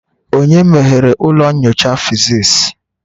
Onye meghere ụlọ nyocha physics.?